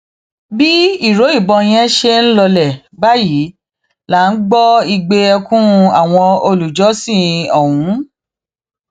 bí ìró ìbọn yẹn ṣe ń lọọlẹ báyìí là ń gbọ igbe ẹkún àwọn olùjọsìn ọhún